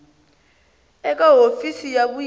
a eka hofisi ya vuyimeri